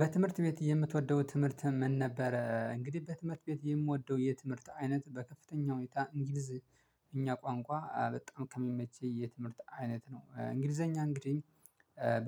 በትምህርት ቤት የምትወደው ትምህርት ምን ነበረ? እንግዲህ በትምህርት ቤት የምወደው የትምህርት አይነት በከፍተኛ ሁኔታ እንግሊዝ እኛ ቋንቋ በጣም ከሚመች የትምህርት አይነት ነው። እንግሊዘኛ እንግዲህ